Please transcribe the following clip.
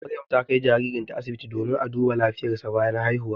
Maryam ta kai jaririnta asibiti domin a duba lafiyarsa bayan haihu.